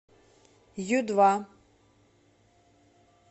ю два